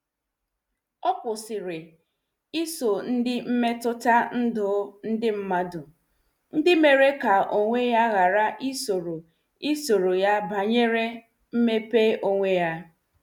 Ọ kwụsịrị iso ndị mmetụta ndụ ndị mmadu, ndị mere ka onwe ya ghara izuru izuru ya banyere mmepe onwe ya.